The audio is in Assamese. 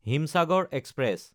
হিমচাগৰ এক্সপ্ৰেছ